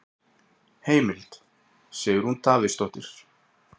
Heimild: Sigrún Davíðsdóttir.